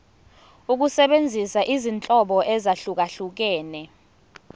ukusebenzisa izinhlobo ezahlukehlukene